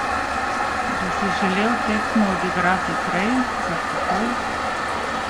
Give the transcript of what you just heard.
Bi si želel tekmo odigrati prej, kar takoj?